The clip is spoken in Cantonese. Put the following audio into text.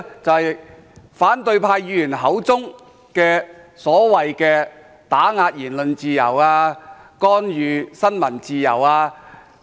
就是反對派議員口中所謂的打壓言論自由、干預新聞自由等。